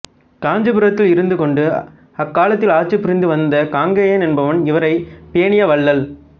காஞ்சிபுரத்தில் இருந்துகொண்டு அக்காலத்தில் ஆட்சி புரிந்துவந்த காங்கேயன் என்பவன் இவரைப் பேணிய வள்ளல்